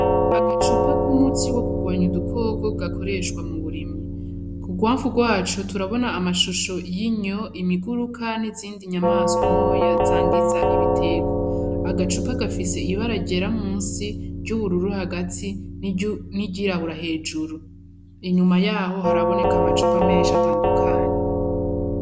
Agacupa k'umuti wo kugwanya udukoko gakoreshwa mu burimyi. Ku rwamfu rwaco turabona amashusho y' inyo, imiguruka n'izindi nyamaswa ntoya zangiza ibiterwa. Agacupa gafise ibara ryera musi, iry'ubururu hagati n'iryirabura hejuru. Inyuma yaho haraboneka amacupa menshi atandukanye.